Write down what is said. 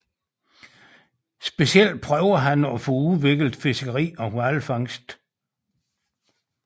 Specielt prøvede han at få udviklet fiskeri og hvalfangst